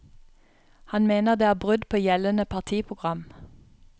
Han mener det er brudd på gjeldende partiprogram.